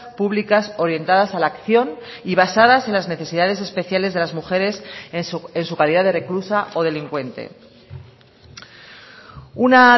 públicas orientadas a la acción y basadas en las necesidades especiales de las mujeres en su calidad de reclusa o delincuente una